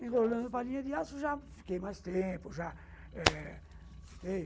Tem rolando palinha de aço, já fiquei mais tempo, já eh, fiquei